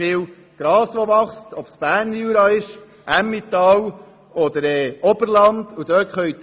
Sowohl im Berner Jura wie auch im Emmental oder im Oberland wächst sehr viel Gras.